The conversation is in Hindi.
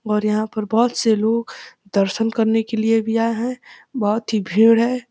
और यहाँ पे बोहोत से लोग दर्शन करने के लिए भी आये हैं बोहोत ही भीड़ है।